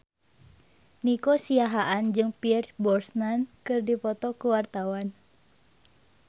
Nico Siahaan jeung Pierce Brosnan keur dipoto ku wartawan